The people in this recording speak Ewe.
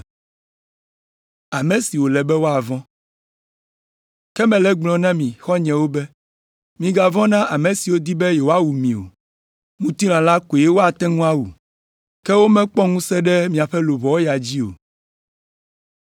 Ke mele egblɔm na mi xɔ̃nyewo be, “Migavɔ̃ na ame siwo di be yewoawu mi o. Ŋutilã la koe woate ŋu awu, ke womekpɔ ŋusẽ ɖe míaƒe luʋɔwo ya dzi o.